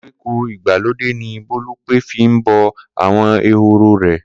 Koríko ìgbàlódé ni Bólúpé fi ń bó̩ àwo̩n ehoro rè̩